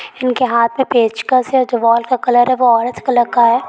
इनके हाथ में पेचकस हैं जो वॉल का कलर है वो औरेंज कलर का हैं।